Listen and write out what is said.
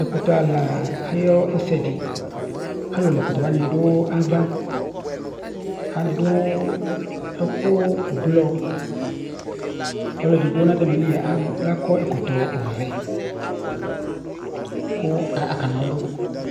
Ɛkʋtɛ la ayʋ ɛsɛdi Alu la ɛkʋtɛ wani du ava adu ɛku ɛblɔ kʋ ɔlʋɛdigbo nʋ ayìlí adu ɛku ɔvɛ kʋ akana ɔlu